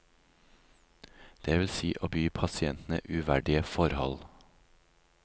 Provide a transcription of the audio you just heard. Det vil si å by pasientene uverdige forhold.